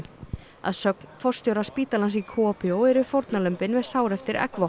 að sögn forstjóra spítalans í eru fórnarlömbin með sár eftir